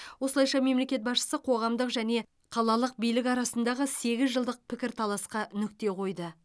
осылайша мемлекет басшысы қоғамдық және қалалық билік арасындағы сегіз жылдық пікірталасқа нүкте қойды